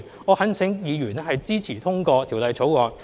我懇請議員支持通過《條例草案》。